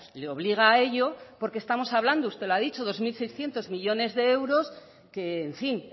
le obliga a ello porque estamos hablando usted lo ha dicho dos mil seiscientos millónes de euros que en fin